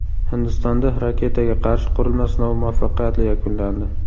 Hindistonda raketaga qarshi qurilma sinovi muvaffaqiyatli yakunlandi.